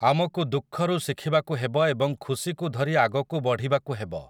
ଆମକୁ ଦୁଃଖରୁ ଶିଖିବାକୁ ହେବ ଏବଂ ଖୁସିକୁ ଧରି ଆଗକୁ ବଢ଼ିବାକୁ ହେବ ।